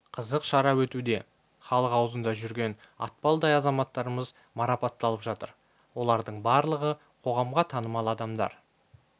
қызық шара өтуде іалық аузында жүрген атпалдай азаматтарымыз марапатталып жатыр олардың барлығы қоғамға танымал адамдар